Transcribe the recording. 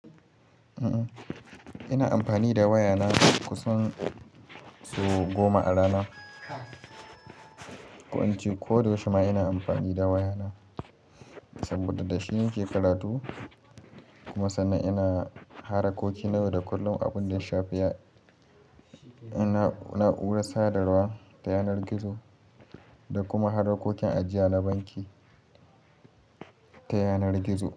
Eh, ina amfani da wayana kusan sau goma a rana. Ko ince koda yaushe ma ina amfani da wayana saboda dashi nake karatu kuma sannan ina harakoki na yau da kullum abunda ya shafi na'urar sadarwa ta yanar gizo da kuma harakokin ajiya na banki ta yanar gizo.